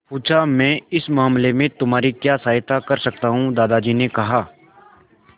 पूछा मैं इस मामले में तुम्हारी क्या सहायता कर सकता हूँ दादाजी ने कहा